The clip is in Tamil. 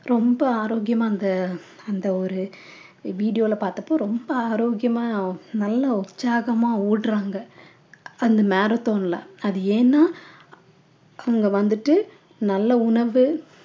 ரொம்ப ஆரோக்கியமா அந்த அந்த ஒரு video ல பார்த்தப்போ ரொம்ப ஆரோக்கியமா நல்ல உற்சாகமா ஓடுறாங்க அந்த marathon ல அது ஏன்னா அவங்க வந்துட்டு நல்ல உணவு